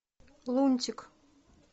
лунтик